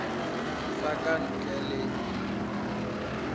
sa ka ntle le mediro